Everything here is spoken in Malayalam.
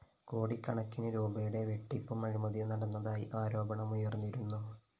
കോടിക്കണക്കിന് രൂപയുടെ വെട്ടിപ്പും അഴിമതിയും നടന്നതായി ആരോപണമുയര്‍ന്നിരുന്നു